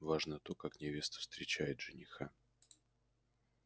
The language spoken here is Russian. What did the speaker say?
важно то как невеста встречает жениха